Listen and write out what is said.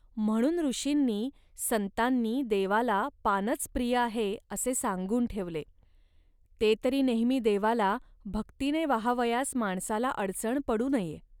म्हणून ऋषींनी, संतांनी देवाला पानच प्रिय आहे, असे सांगून ठेवले. ते तरी नेहमी देवाला भक्तीने वाहावयास माणसाला अडचण पडू नये